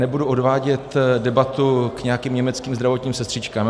Nebudu odvádět debatu k nějakým německým zdravotním sestřičkám.